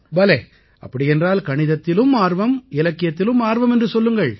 பலே அப்படியென்றால் கணிதத்திலும் ஆர்வம் இலக்கியத்திலும் ஆர்வம் என்று சொல்லுங்கள்